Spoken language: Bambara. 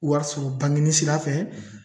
Wari sɔrɔ bangini sira fɛ